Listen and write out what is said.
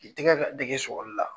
I tɛgɛ ka dege sɔgɔli la.